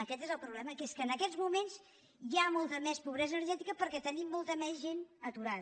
aquest és el problema que és que en aquests moments hi ha molta més pobresa energètica perquè tenim molta més gent aturada